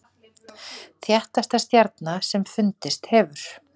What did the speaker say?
Þéttasta stjarna sem fundist hefur